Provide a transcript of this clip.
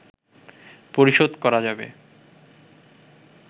পরিশোধ করা যাবে